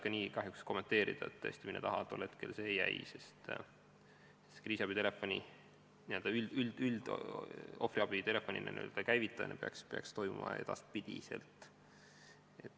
Ma kahjuks ei oska kommenteerida, mille taha tol hetkel see abi jäi, sest kriisiabi telefon, ohvriabi telefon peaks töötama.